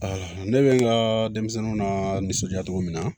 ne bɛ n ka denmisɛnninw la nisɔndiya cogo min na